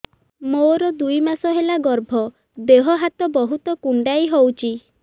ମୋର ଦୁଇ ମାସ ହେଲା ଗର୍ଭ ଦେହ ହାତ ବହୁତ କୁଣ୍ଡାଇ ହଉଚି